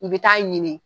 I bɛ taa ɲini